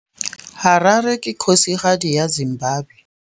Harare ke kgosigadi ya Zimbabwe.